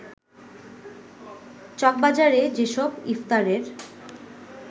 চকবাজারে যেসব ইফতারের